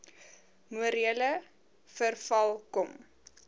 morele verval kom